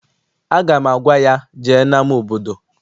Aga m agwa ya, jee n'ama obodo!